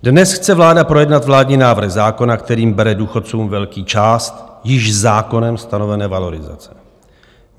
Dnes chce vláda projednat vládní návrh zákona, kterým bere důchodcům velkou část již zákonem stanovené valorizace.